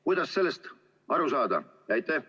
Kuidas sellest aru sada?